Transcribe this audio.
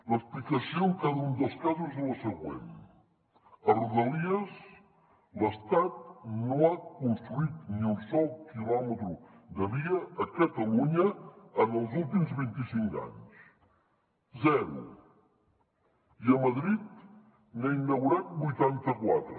l’explicació en cada un dels casos és la següent a rodalies l’estat no ha construït ni un sol quilòmetre de via a catalunya en els últims vint i cinc anys zero i a madrid n’ha inaugurat vuitanta quatre